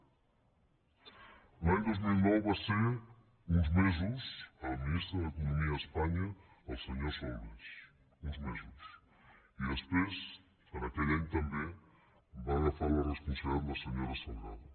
l’any dos mil nou va ser uns mesos el ministre d’economia a espanya el senyor solbes uns mesos i després aquell any també va agafar la responsabilitat la senyora salgado